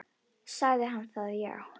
Sagði hann það já.